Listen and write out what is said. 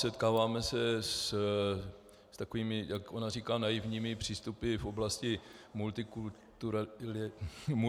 Setkáváme se s takovými, jak ona říká, naivními přístupy v oblasti multikulturalismu.